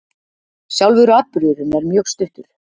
Sjálfur atburðurinn er mjög stuttur